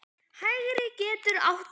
Hægri getur átt við